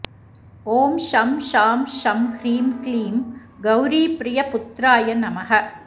ॐ शं शां षं ह्रीं क्लीं गौरीप्रियपुत्राय नमः